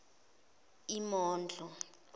imondlo